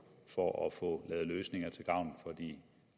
for at få lavet løsninger til gavn for de